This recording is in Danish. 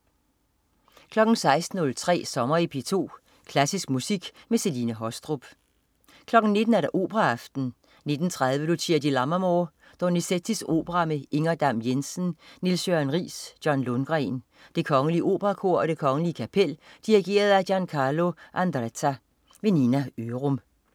16.03 Sommer i P2. Klassisk musik med Celine Haastrup 19.00 Operaaften. 19.30 Lucia di Lammermoor. Donizettis opera med Inger Dam-Jensen, Niels Jørgen Riis, John Lundgren. Det Kgl. Operakor og Det Kgl, Kapel. Dirigent: Giancarlo Andretta. Nina Ørum